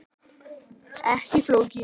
Ekki flókið.